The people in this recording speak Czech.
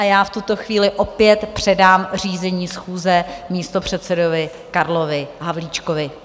A já v tuto chvíli opět předám řízení schůze místopředsedovi Karlu Havlíčkovi.